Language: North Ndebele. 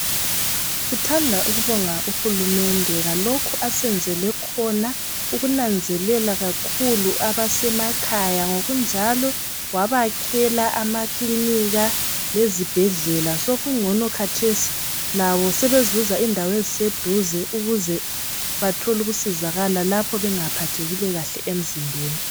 Sithanda ukubonga UHulumende ngalokhu asenzele khona ukunanzelela kakhulu abasemakhaya ngokunjalo wabakhela amakilinika lezibhedlela sokungcono khathesi labo sebezuza indawo zokusizakala eziseduze lapho bengaphathekile kuhle emzimbeni.